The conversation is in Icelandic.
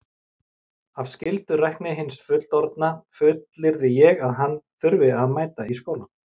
Af skyldurækni hins fullorðna fullyrði ég að hann þurfi að mæta í skólann.